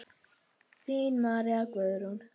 Þín María Guðrún.